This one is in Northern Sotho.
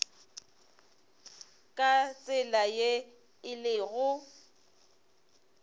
ka tsela ye e lego